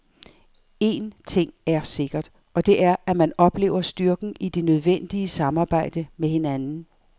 En ting er sikkert, og det er, at man oplever styrken i det nødvendige samarbejde med hinanden.